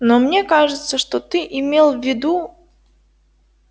но мне кажется что ты имел в виду